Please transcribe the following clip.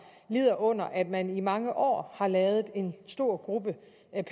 lider under at man i mange år har ladet en stor gruppe